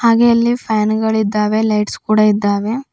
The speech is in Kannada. ಹಾಗೆ ಅಲ್ಲಿ ಫ್ಯಾನ್ಗಳಿದ್ದಾವೆ ಲೈಟ್ಸ್ ಕೂಡ ಇದ್ದಾವೆ.